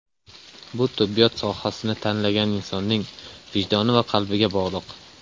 Bu tibbiyot sohasini tanlagan insonning vijdoni va qalbiga bog‘liq.